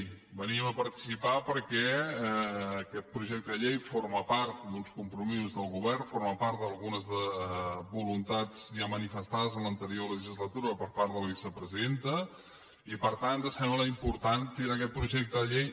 hi venim a participar perquè aquest projecte de llei forma part d’uns compromisos del govern forma part d’algunes voluntats ja manifestades en l’anterior legislatura per part de la vicepresidenta i per tant ens sembla important tirar aquest projecte de llei